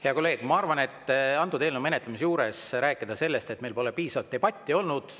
Hea kolleeg, ma arvan, et antud eelnõu menetlemise juures rääkida sellest, et meil pole piisavat debatti olnud.